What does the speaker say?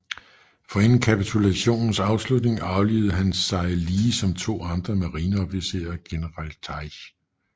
Forinden kapitulationens afslutning aflivede han sig lige som to andre marineofficerer og general Taj